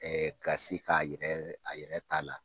Ɛ ɛ Ka se k'a yɛrɛ a yɛɛ ta la